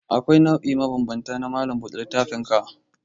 Akwai nau'ika mabambanta na malam buɗe littafinka.